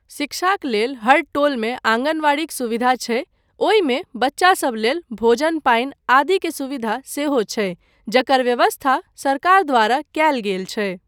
शिक्षाक लेल हर टोलमे आँगनवाड़ीक सुविधा छै, ओहिमे बच्चासब लेल भोजन पानि आदि के सुविधा सेहो छै जकर व्यवस्था सरकार द्वारा कयल गेल छै।